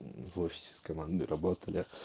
мм в офисе с командной работали